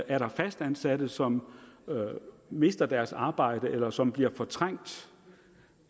er der fastansatte som mister deres arbejde eller som bliver fortrængt